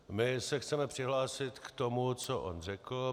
My se chceme přihlásit k tomu, co on řekl.